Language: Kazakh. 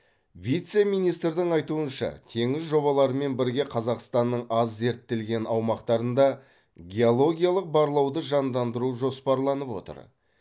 вице министрдің айтуынша теңіз жобаларымен бірге қазақстанның аз зерттелген аумақтарында геологиялық барлауды жандандыру жоспарланып отыр